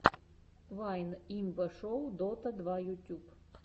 вайн имба шоу дота два ютьюб